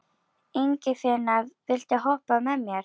Ingifinna, viltu hoppa með mér?